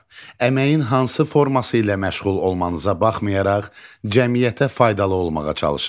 Əməyin hansı forması ilə məşğul olmağınıza baxmayaraq, cəmiyyətə faydalı olmağa çalışın.